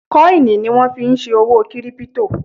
Kọ́ìnì ni wọ́n fí n ṣe òwò kírípítò